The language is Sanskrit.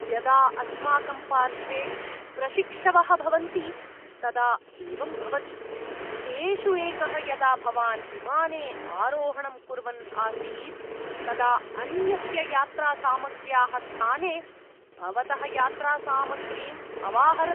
यदा अस्माकं पार्श्वे प्रशिक्षवः भवन्ति तदा एवं भवति। तेषु एकः, यदा भवान् विमाने आरोहणं कुर्वन् आसीत् तदा अन्यस्य यात्रासामग्र्याः स्थाने भवतः यात्रासामग्रीम् अवाहरत्।